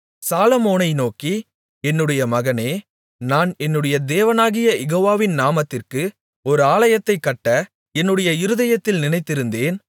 சாலொமோனை நோக்கி என்னுடைய மகனே நான் என்னுடைய தேவனாகிய யெகோவாவின் நாமத்திற்கு ஒரு ஆலயத்தைக் கட்ட என்னுடைய இருதயத்தில் நினைத்திருந்தேன்